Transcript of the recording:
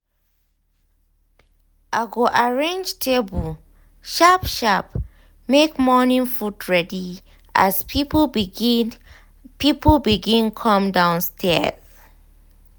i go arrange table sharp sharp make morning food ready as people begin people begin come downstaird